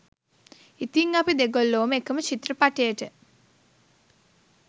ඉතිං අපි දෙගොල්ලෝම එකම චිත්‍රපටයට